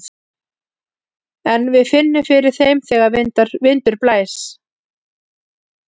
En við finnum fyrir þeim þegar vindur blæs.